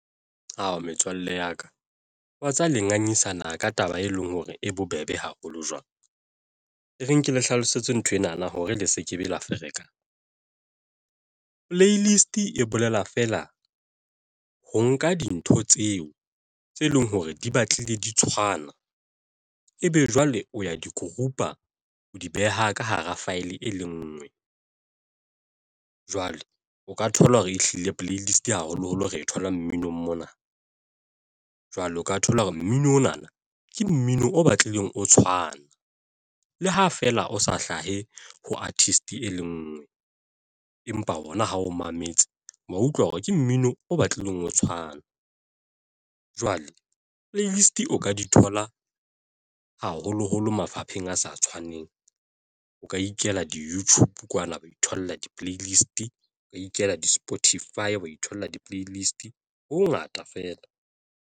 Ao, metswalle ya ka watseba le ngangisana ka taba e leng hore e bobebe haholo jwang. E re nke le hlalosetswe nthwena na hore le se ke be la ferekana playlist e bolela feela ho nka dintho tseo tse leng hore di batlile di tshwana, ebe jwale o ya di-group-a o di beha ka hara file e le ngwe. Jwale o ka thola hore ehlile playlist haholoholo re e thole mmino mona jwale o ka thola hore mminong ona na ke mmino o batlileng o tshwana le ha feela o sa hlahe ho artist e le ngwe empa ona ha o mametse, wa utlwa hore ke mmino o batlileng ho tshwana. jwale playlist o ka di thola, haholoholo mafapheng a sa tshwaneng. O ka ikela di-YouTube kwana wa ithola di-playlist o ka ikela di-Spotify wa itholla di-playlist ho ho ngata feela.